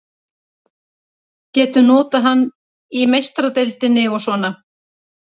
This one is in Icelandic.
Getum notað hann í Meistaradeildinni og svona.